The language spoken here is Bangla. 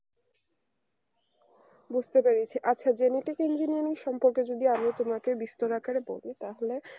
বুঝতে পেরেছি আচ্ছা genetic engineering সম্পর্কে যদি আমি তোমাকে বিস্তার আকারে বলি তাহলে